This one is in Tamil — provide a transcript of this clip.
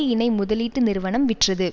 இணை முதலீட்டு நிறுவனம் விற்றது